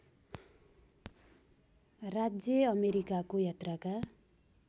राज्य अमेरिकाको यात्राका